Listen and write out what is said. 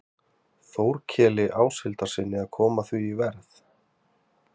Þórkeli Áshildarsyni, að koma því í verð.